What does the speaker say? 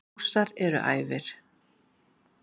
Rússar eru æfir.